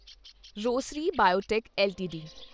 Rosary Biotech LTD